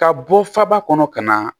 Ka bɔ faba kɔnɔ ka na